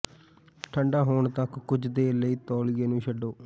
ਠੰਡਾ ਹੋਣ ਤਕ ਕੁਝ ਦੇਰ ਲਈ ਤੌਲੀਏ ਨੂੰ ਛੱਡੋ